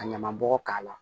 Ka ɲaman bɔgɔ k'a la